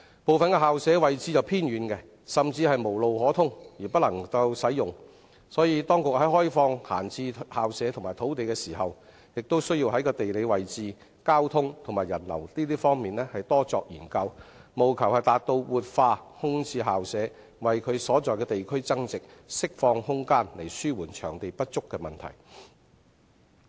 部分校舍位置偏遠，甚至無路可通而不能使用，所以當局在開放閒置校舍及土地時，也要在地理位置、交通和人流等方面多作研究，務求達到活化空置校舍、為其所在地區增值，釋放空間以紓緩場地不足的問題。